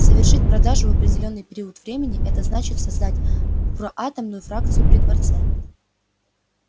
совершить продажу в определённый период времени это значит создать проатомную фракцию при дворце